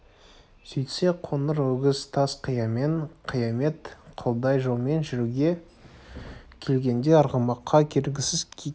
сөйтсе қоңыр өгіз тас қиямен қиямет қылдай жолмен жүруге келгенде арғымаққа бергісіз екен